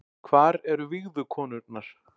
Hvar eru vígðu konurnar